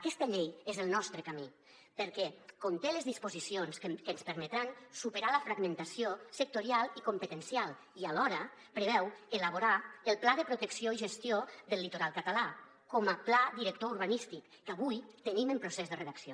aquesta llei és el nostre camí perquè conté les disposicions que ens permetran superar la fragmentació sectorial i competencial i alhora preveu elaborar el pla de protecció i gestió del litoral català com a pla director urbanístic que avui tenim en procés de redacció